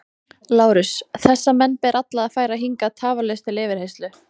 LÁRUS: Þessa menn ber alla að færa hingað tafarlaust til yfirheyrslu.